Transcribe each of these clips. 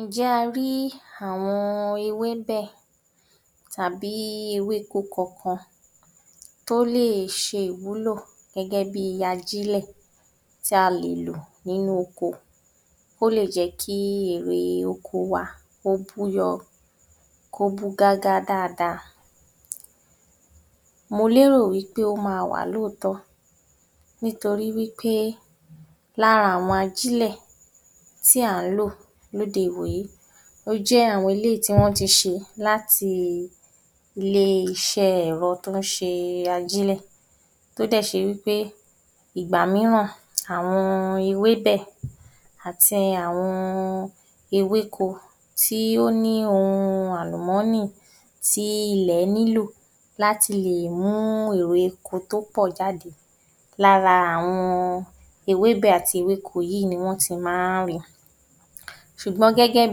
Ǹjẹ́ a rí àwọn ewébẹ̀ tàbí ewéko kọ̀kan tó lè se ìwúlò gẹ́gẹ́ bí ajílẹ̀ tí a lè lò nínú oko, ó lè jẹ́ kí èrè oko wa ó búyọ́ kó bú gágá dáadáa, mo lérò pé wí pé o ma wà lóòtóó nítorí wí pé lára àwọn ajílẹ̀ tí á ń lò lóde ìwòyí, ó jẹ́ àwọn eléyìí tí wọ́n ti ṣe láti ilẹ́ isẹ́ ẹ̀rọ tó ń ṣe ajílẹ̀ tó dè se wí pé ìgbà míràn àwọn ewébẹ̀ àti àwọn ewéko tí ó ní ohun àlùmọ́nì tí ilẹ̀ ní lọ̀ láti le mú èrè oko tó pọ̀ jáde lára àwọn ewébẹ̀ àti ewéko yìí ni wọ́n ti ma ń ri sùgbọ́n gẹ́gẹ́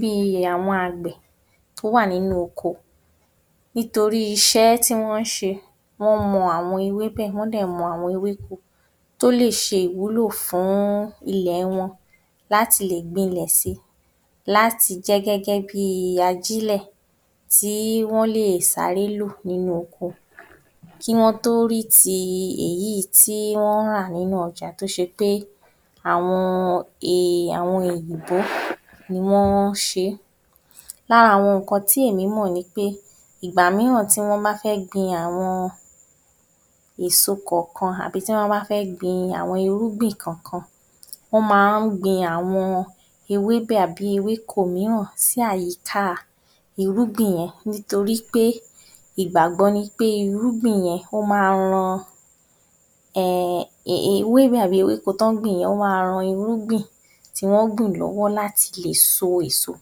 bí i àwọn àgbẹ̀ tó wà nínú oko nítorí iṣẹ́ tí wọn ń ṣe wọ́n mọ àwọn ewébẹ̀ wọ́n dẹ̀ mọ ewéko tó lè se ìwúlò fún ilẹ̀ wọn láti lè gbin lẹ̀ si láti jẹ́ gẹ́gẹ́ bí ajílẹ̀ tí wọ́n lè sáré lò nínú oko kí wọ́n rí ti èyi tí wọ́n ń rà nínú ọjà tó ṣe pé àwọn e òyìnbó ni wọ́n ṣe. Lára àwọn ǹkan tí èmi mọ̀ ni pé ìgbà míràn tí wọ́n bá fẹ́ gbin àwọn èsó ọkan àbí tí wọ́n bá fẹ́ gbin àwọn irúgbìn kọ̀kan wọ́n ma ń gbin àwọn ewébẹ̀ àbí ewéko míràn sí àyíká irúgbìn wọn nítori pé ìgbàgbọ́ ni pé irúgbìn yẹn ó ma ran ẹ ẹ ewébẹ̀ àbí ewéko tán gbìn yẹn ma ran irúgbìn tí wọ́n gbìn lọ́wọ́ láti le so èso.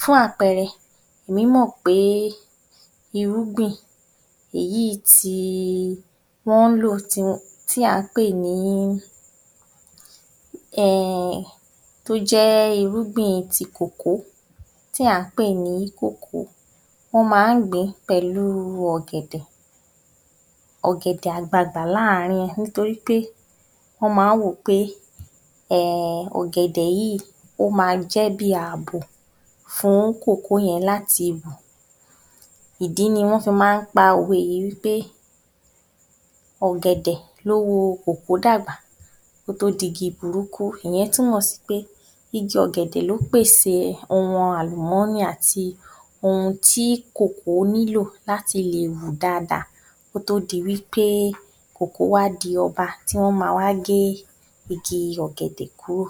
Fún àpẹrẹ èmí mọ̀ pé irúgbìn èyí ti i wọ́n ń lò tí à ń pè ní ẹ ẹ tójẹ́ irúgbìn ti kòkó tí à ń pè ní kòkó wọ́n ma ń gbìn pẹ̀lú ọ̀gẹ̀dẹ̀, ògẹ̀dẹ̀ àgbagbà láàrin nítorí pé wọ́n ma ń wò pé ẹ ẹ ògẹ̀dẹ̀ yìí ma jẹ́ bí àbò fún kòkó yẹn láti bò ìdí ni wọ́n fi ma ń pa òwe yìí wí pé ọ̀gẹ̀dẹ̀ ló wo kòkó dàgbà kó tó digi burúkú, ìyẹn túmọ̀ sí pé igi ọ̀gẹ̀dẹ̀ ló pè sè ohun àlùmọ́nì àti ohun tí kòkó nílò láti lè wù dáadáa kó tó di wí pé kòkó wá di ọba tí wọ́n ma wá gé Igi ọ̀gẹ̀dẹ̀ kúrò.